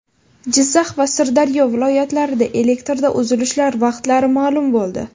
Jizzax va Sirdaryo viloyatlarida elektrda uzilishlar vaqtlari ma’lum bo‘ldi.